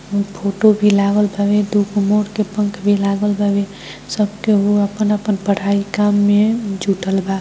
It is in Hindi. फोटो भी लगा है | दो मोर पंख भी लगा हुआ है और सब अपने-अपने में पढाई कर रहे है |